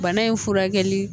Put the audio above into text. Bana in furakɛli